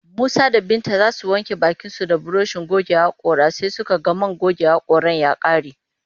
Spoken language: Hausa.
Musa da Binta za su wanke bakinsu da burushin goge haƙora sai suka ga man goge haƙoran ya ƙare